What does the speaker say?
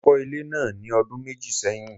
Mo kọ́ ilé náà ní ọdún méjì sẹ́yìn.